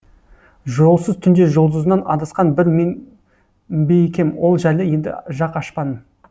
жолсыз түнде жұлдызынан адасқан бір мен бе екем ол жайлы енді жақ ашпан